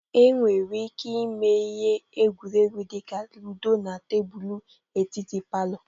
E nwere ike ime ihe egwuregwu dị ka ludo na tebulu etiti palọ.